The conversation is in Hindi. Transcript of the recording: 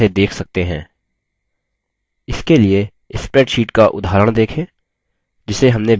इसके लिए spreadsheet का उदाहरण देखें जिसे हमने base में पंजीकृत किया था